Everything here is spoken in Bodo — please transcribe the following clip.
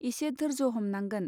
इसे धोर्ज हमनांगोन.